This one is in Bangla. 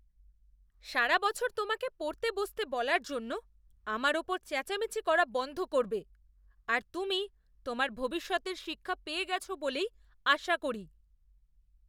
সারা বছর তোমাকে পড়তে বসতে বলার জন্য আমার ওপর চেঁচামেচি করা বন্ধ করবে আর তুমি তোমার ভবিষ্যতের শিক্ষা পেয়ে গেছো বলেই আশা করি।